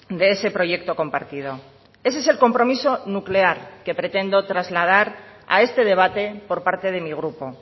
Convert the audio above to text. de ese proyecto compartido ese es el compromiso nuclear que pretendo trasladar a este debate por parte de mi grupo